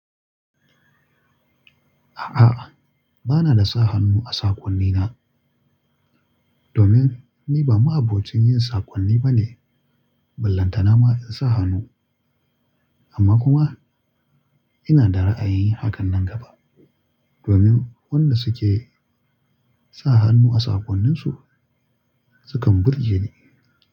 A'a, ba na da sa hannu a saƙonnina domin ni ba ma abokin yin saƙonni ba ne. Ballantana ma in sa hannu, amma kuma ina da ra'ayi hakan nan gaba domin wannan suke sa hannu a saƙonninsu sukan burge ni.